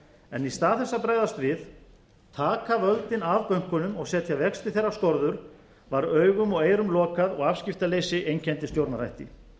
en í stað þess að bregðast við taka völdin af bönkunum og setja vexti þeirra skorður var augum og eyrum lokað og afskiptaleysi einkenndi stjórnarhætti